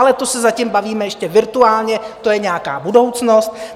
Ale to se zatím bavíme ještě virtuálně, to je nějaká budoucnost.